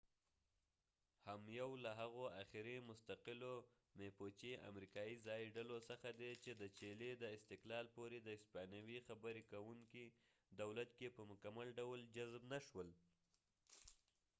mapuche هم یو له هغو اخیري مستقلو امریکایی ځایي ډلو څخه دی چې د چیلي د استقلال پورې د هسپانوي خبرې کوونکي دولت کې په مکمل ډول جذب نشول